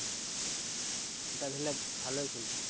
ওটা আসলে ভালোই খেলতে।